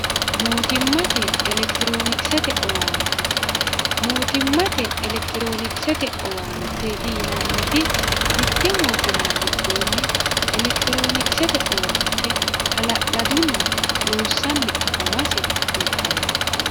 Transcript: mootimmate elekiiroonikisete owaante mootimmate elekiiroonikisete owaanteeti yinanniti mitte mootimma giddoonni elekitiroonikisete owaante hala'ladunni loossanni afamase kultanno